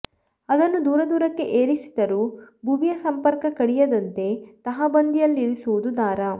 ಅದನ್ನು ದೂರ ದೂರಕ್ಕೆ ಏರಿಸಿದರೂ ಭುವಿಯ ಸಂಪರ್ಕ ಕಡಿಯದಂತೆ ತಹಬಂದಿಯಲ್ಲಿರಿಸುವುದು ದಾರ